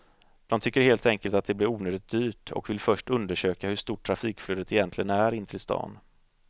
De tycker helt enkelt att det blir onödigt dyrt och vill först undersöka hur stort trafikflödet egentligen är in till stan.